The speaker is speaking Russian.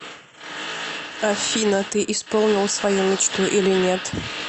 афина ты исполнил свою мечту или нет